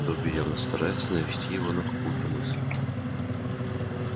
добби явно старается навести его на какую-то мысль